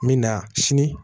N bɛ na sini